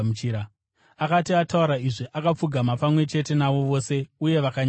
Akati ataura izvi, akapfugama pamwe chete navo vose uye vakanyengetera.